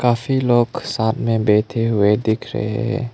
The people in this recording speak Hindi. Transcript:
काफी लोग साथ में बैठे हुए दिख रहे हैं।